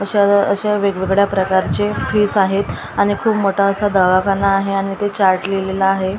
अशा अशा वेगवेगळ्या प्रकारचे फिस आहेत आणि खूप मोठा असा दवाखाना आहे आणि इथे चार्ट लिहलेला आहे त्या चा--